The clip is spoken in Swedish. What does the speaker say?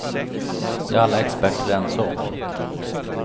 Det är alla experter ense om.